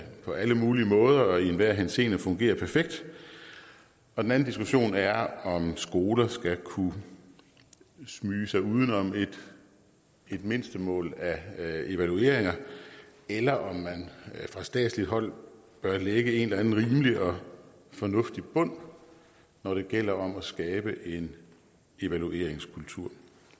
på alle mulige måder og i enhver henseende fungerer perfekt og den anden diskussion er om skoler skal kunne smyge sig uden om et mindstemål af evalueringer eller om man fra statsligt hold bør lægge en eller anden rimelig og fornuftig bund når det gælder om at skabe en evalueringskultur